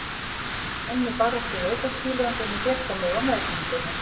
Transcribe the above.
Ég er enn í baráttu við aukakílóin sem ég fékk á mig á meðgöngunni.